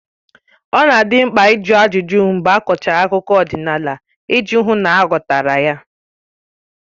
Ọ na adị mkpa ịjụ ajụjụ mgbe a kọchara akụkọ ọdịnala iji hụ na a ghọtara ya